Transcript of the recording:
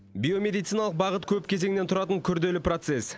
биомедициалық бағыт көп кезеңнен тұратын күрделі процес